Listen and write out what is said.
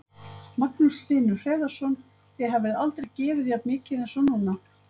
Magnús Hlynur Hreiðarsson: Þið hafið aldrei gefið jafn mikið eins og núna?